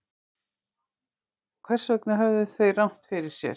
en hvers vegna höfðu þeir rangt fyrir sér